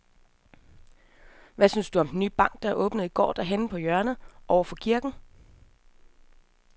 Hvad synes du om den nye bank, der åbnede i går dernede på hjørnet over for kirken?